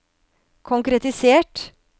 konkretisert